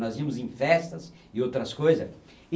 Nós íamos em festas e outras coisa